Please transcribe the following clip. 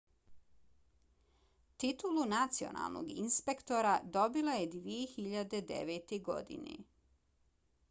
titulu nacionalnog inspektora dobila je 2009. godine